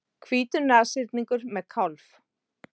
Hvítur nashyrningur með kálf.